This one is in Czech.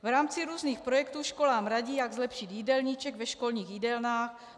V rámci různých projektů školám radí, jak zlepšit jídelníček ve školních jídelnách.